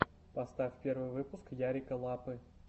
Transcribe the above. поставь первый выпуск ярика лапы